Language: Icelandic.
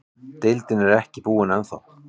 Deildin er ekki búinn ennþá.